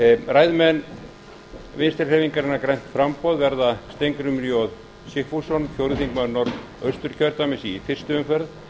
ræðumenn vinstri hreyfingarinnar græns framboðs verða steingrímur j sigfússon fjórði þingmaður norðausturkjördæmis í fyrstu umferð